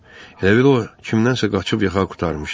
Elə bil o kimdənsə qaçıb yaxa qurtarmışdı.